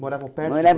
Morava morava perto?